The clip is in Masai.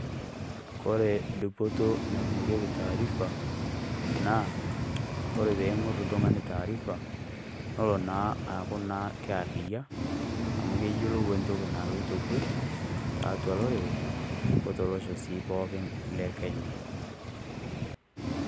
Kore dupoto naing'orieki taarifa naa teneing'orr tung'ani taarifa naa kelo naa aaku arriyia, amu keyiolou entoki naloito kwee tiatua olorere otolosho naa pooki lekenya.